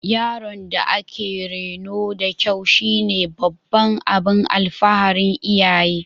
Yaron da aka reno da kyau shine babban abin alfaharin iyaye